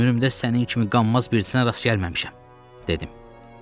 Ömrümdə sənin kimi qanmaz birisinə rast gəlməmişəm, dedim.